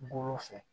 Golo fɛ